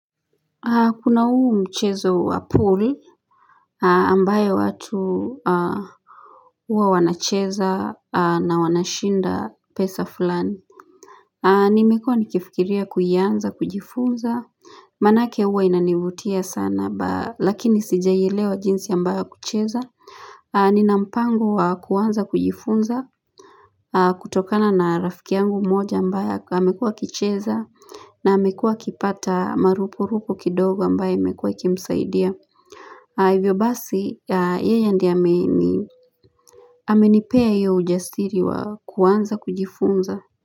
Kuna huu mchezo wa pool ambaye watu huwa wanacheza na wanashinda pesa fulani Nimekua nikifikiria kuianza kujifunza manake huwa inanivutia sana lakini sijailewa jinsi ambayo kucheza Nina mpango kuanza kujifunza kutokana na rafiki yangu mmoja ambaye hamekua kicheza na amekuwa kipata marupurupu kidogo ambaye imekuwa ikimsaidia. Hivyo basi, yeye ndio ameni amenipea iyo ujasiri wa kuanza kujifunza.